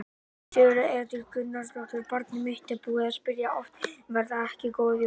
Sigríður Edith Gunnarsdóttir: Barnið mitt er búið að spyrja oft: Verða þetta ekki góð jól?